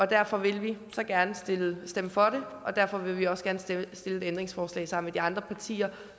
derfor vil vi så gerne stemme for og derfor vil vi også gerne stille et ændringsforslag sammen med de andre partier